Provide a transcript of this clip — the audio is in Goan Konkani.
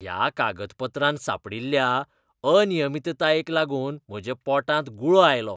ह्या कागदपत्रांत सांपडिल्ल्या अनियमीततायेंक लागून म्हज्या पोटांत गुळो आयलो.